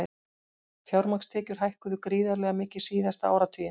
Fjármagnstekjur hækkuðu gríðarlega mikið síðasta áratuginn